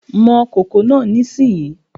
Mọ kòkò náà nísìnyí!